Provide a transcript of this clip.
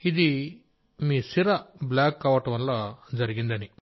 ఇది మీ సిర బ్లాక్ కావడం వల్ల జరిగింది అని